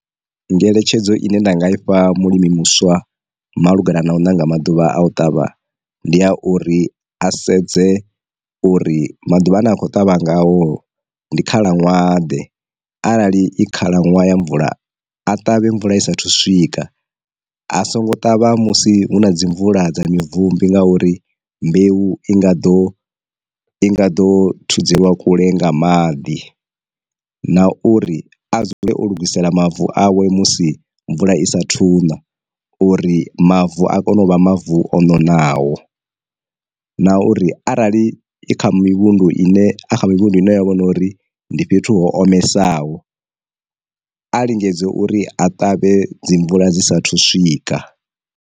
Ngeletshedzo ine nda nga ifha mulimi muswa malugana na u ṋanga maḓuvha a u ṱavha ndi a uri, a sedze uri maḓuvha ane a khou ṱavha ngaho ndi khalaṅwaha ḓe arali i khalaṅwaha ya mvula a ṱavhe mvula i saathu u swika, a songo ṱavha musi hu na dzi mvula dza mi bvumbi nga uri mbeu i nga ḓo i nga ḓo thudzelwa kule nga maḓi. Na uri a dzule o lugisela mavu awe musi mvula i sa thuna uri mavu a kone u vha mavu o nonaho, na uri arali i kha mivhundu ine a kha mivhundu ine ya vhona uri ndi fhethu ho omesaho a lingedze uri a ṱavhe dzi mvula dzi sa thu swika.